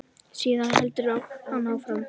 Síðan heldur hann áfram.